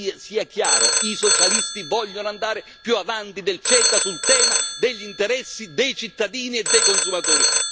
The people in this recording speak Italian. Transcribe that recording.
Sia chiaro i socialisti vogliono andare più avanti del CETA sul tema degli interessi dei cittadini e dei consumatori.